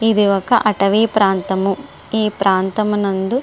ఇది ఒక అటవీ ప్రాంతము ఈ ప్రాంతము నందు --